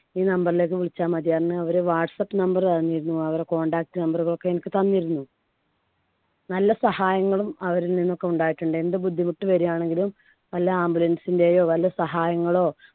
ഈ number ലേക്ക് വിളിച്ചാൽ മതിറഞ്ഞു ഓരെ whatsapp number തന്നിരുന്നു. അവരുടെ contact number തൊക്കെ എനിക്ക് തന്നിരുന്നു. നല്ല സഹായങ്ങളും അവരിൽ നിന്നൊക്കെ ഉണ്ടായിട്ടുണ്ട്. എന്ത് ബുദ്ധിമുട്ട് വര്യാണെങ്കിലും വല്ല ambulance ന്‍ടെയൊ വല്ല സഹായങ്ങളോ